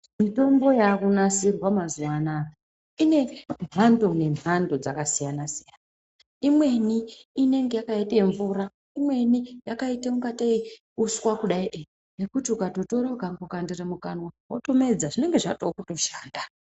Mitombo yakunasirwa mazuva anaya ine mhando nemhando dzakasiyana-siyana. Imweni inenge yakaite mvura imweni yakaita kunga tee uswa kudai. Yekuti ukambotora ukatokandira mukanwa votomedza zvinonga zvatokutoshanda.